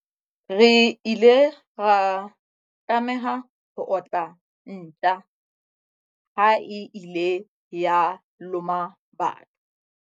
Re ile ra tlameha ho otla ntja ha e ile ya loma batho.